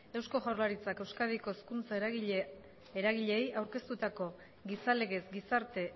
eusko jaurlaritzak euskadiko hezkuntza eragileei aurkeztutako gizalegez gizarte